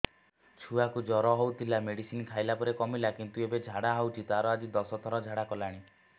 ଛୁଆ କୁ ଜର ହଉଥିଲା ମେଡିସିନ ଖାଇଲା ପରେ କମିଲା କିନ୍ତୁ ଏବେ ଝାଡା ହଉଚି ତାର ଆଜି ଦଶ ଥର ଝାଡା କଲାଣି